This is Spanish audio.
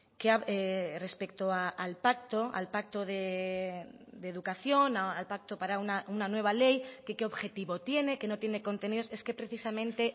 que respecto al pacto al pacto de educación al pacto para una nueva ley que qué objetivo tiene que no tiene contenidos es que precisamente